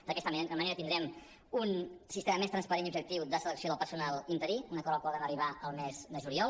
d’aquesta manera tindrem un sistema més transparent i objectiu de selecció del personal interí un acord al qual vam arribar el mes de juliol